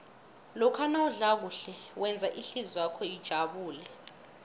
lokha nawudla kuhle wenza ihlizwakho ijabule